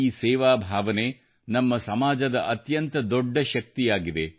ಈ ಸೇವಾ ಭಾವನೆ ನಮ್ಮ ಸಮಾಜದ ಅತ್ಯಂತ ದೊಡ್ಡ ಶಕ್ತಿಯಾಗಿದೆ